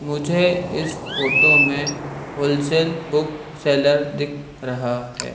मुझे इस फोटो में होलसेल बुक सेलर दिख रहा है।